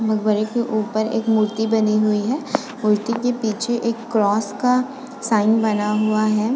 मगबरे के ऊपर एक मूर्ति बनी हुई है मूर्ति के पीछे एक क्रॉस का साइन बना हुआ है।